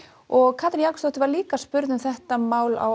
og Katrín Jakobsdóttir var líka spurð um þetta mál á